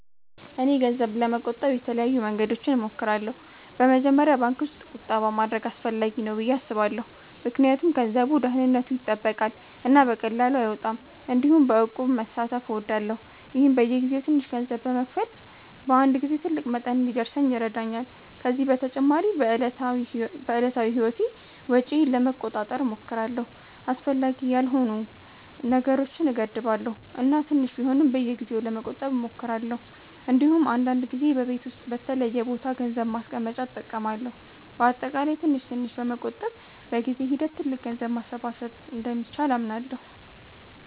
እኔ ገንዘብ ለመቆጠብ የተለያዩ መንገዶችን እሞክራለሁ። በመጀመሪያ ባንክ ውስጥ ቁጠባ ማድረግ አስፈላጊ ነው ብዬ አስባለሁ ምክንያቱም ገንዘቡ ደህንነቱ ይጠበቃል እና በቀላሉ አይወጣም። እንዲሁም በእቁብ መሳተፍ እወዳለሁ፣ ይህም በየጊዜው ትንሽ ገንዘብ በመክፈል በአንድ ጊዜ ትልቅ መጠን እንዲደርስ ይረዳኛል። ከዚህ በተጨማሪ በዕለታዊ ህይወቴ ወጪዬን ለመቆጣጠር እሞክራለሁ፣ አስፈላጊ ያልሆኑ ነገሮችን እገድባለሁ እና ትንሽ ቢሆንም በየጊዜው ለመቆጠብ እሞክራለሁ። እንዲሁም አንዳንድ ጊዜ በቤት ውስጥ በተለየ ቦታ ገንዘብ ማስቀመጫ እጠቀማለሁ። በአጠቃላይ ትንሽ ትንሽ በመቆጠብ በጊዜ ሂደት ትልቅ ገንዘብ ማሰባሰብ እንደሚቻል አምናለሁ።